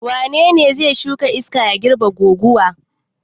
Wane ne ya shuka iska zai girbe guguwa?